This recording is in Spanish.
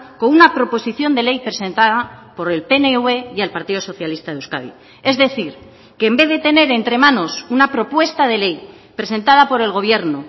con una proposición de ley presentada por el pnv y el partido socialista de euskadi es decir que en vez de tener entre manos una propuesta de ley presentada por el gobierno